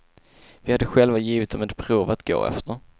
Vi hade själva givit dem ett prov att gå efter.